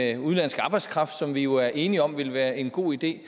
af udenlandsk arbejdskraft som vi jo er enige om vil være en god idé